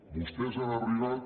vostès han arribat